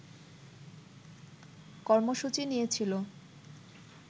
কর্মসূচি নিয়েছিল